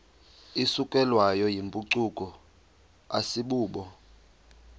isukelwayo yimpucuko asibubo